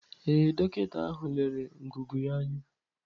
Ee, dọkịta ahụ lere ngụgụ ya anya.